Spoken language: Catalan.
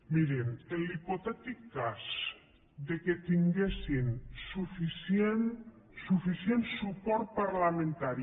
mirin en l’hipotètic cas que tinguessin suficient suport parlamentari